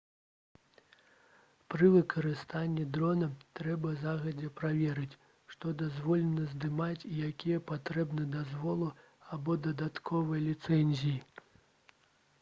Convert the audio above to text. пры выкарыстанні дрона трэба загадзя праверыць што дазволена здымаць і якія патрэбны дазволы або дадатковыя ліцэнзіі